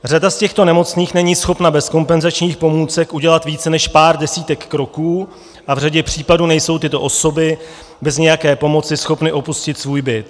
Řada z těchto nemocných není schopna bez kompenzačních pomůcek udělat více než pár desítek kroků a v řadě případů nejsou tyto osoby bez nějaké pomoci schopné opustit svůj byt.